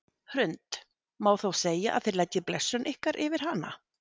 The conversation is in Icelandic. Hrund: Má þá segja að þið leggið blessun ykkar yfir hana?